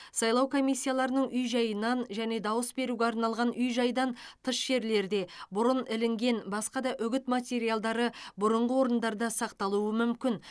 сайлау комиссияларының үй жайынан және дауыс беруге арналған үй жайдан тыс жерлерде бұрын ілінген басқа да үгіт материалдары бұрынғы орындарында сақталуы мүмкін